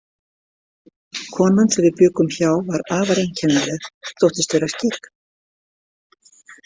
Konan sem við bjuggum hjá var afar einkennileg, þóttist vera skyggn.